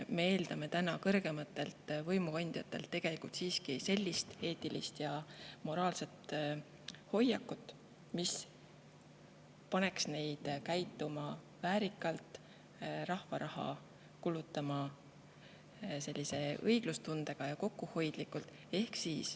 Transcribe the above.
Me eeldame kõrgematelt võimukandjatelt siiski sellist eetilist ja moraalset hoiakut, mis paneks neid käituma väärikalt ning kulutama rahva raha õiglustundega ja kokkuhoidlikult.